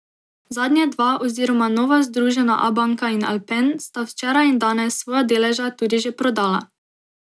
Zadnje dva oziroma nova združena Abanka in Alpen, sta včeraj in danes svoja deleža tudi že prodala.